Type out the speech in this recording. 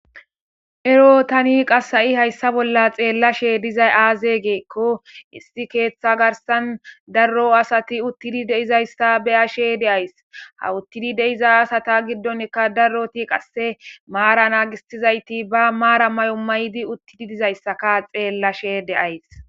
ero tani qassa7i hayssa bolla xeellashe dizay aaze geekko issi keeththa garsan darro asati uttidi deizayssa beyashe deays ha uttidi deiza asata giddonkka darroti qasse maara naagistizayti ba maara may7o may7di uttidi dizayssaka xeellashe deays